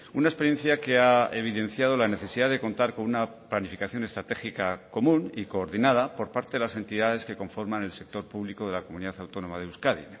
una experiencia que ha evidenciado la necesidad de contar con una planificación estratégica común y coordinada por parte de las entidades que conforman el sector público de la comunidad autónoma de euskadi